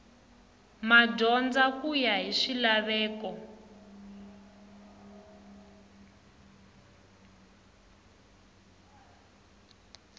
madyondza ku ya hi swilaveko